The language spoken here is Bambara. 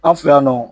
An fɛ yan nɔ